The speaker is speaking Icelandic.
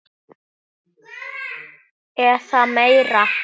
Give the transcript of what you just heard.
eða meira.